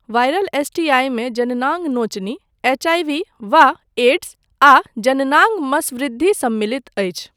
Viral एस.टी.आइमे जननांग नोचनी, एच.आई.वी वा एड्स, आ जननांग मसवृद्धि सम्मिलित अछि।